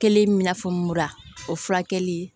Kelen i n'a fɔ mura o furakɛli